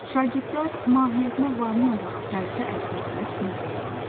Şagirdlər mahiyyətinə varmayaraq dərsi əzbərləyib söyləyirdilər.